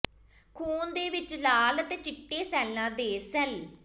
ਖ਼ੂਨ ਦੇ ਵਿੱਚ ਲਾਲ ਅਤੇ ਚਿੱਟੇ ਸੈੱਲਾਂ ਦੇ ਸੈੱਲ